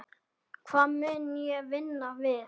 Hvað mun ég vinna við?